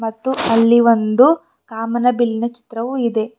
ಮತ್ತು ಅಲ್ಲಿ ಒಂದು ಕಾಮನಬಿಲ್ಲಿನ ಚಿತ್ರವು ಇದೆ.